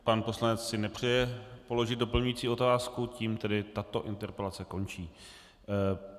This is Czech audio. Pan poslanec si nepřeje položit doplňující otázku, tím tedy tato interpelace končí.